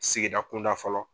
Sigida kunda fɔlɔ.